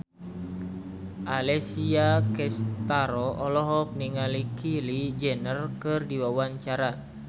Alessia Cestaro olohok ningali Kylie Jenner keur diwawancara